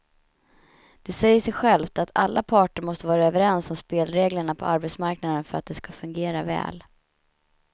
Det säger sig självt att alla parter måste vara överens om spelreglerna på arbetsmarknaden för att de ska fungera väl.